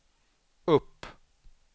upp